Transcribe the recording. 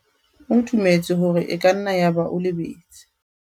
o dumetse hore e ka nna yaba o lebetse